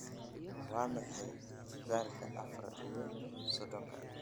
waa maxay jibbaarka afar iyo soddonka